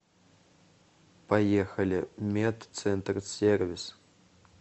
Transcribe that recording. поехали медцентрсервис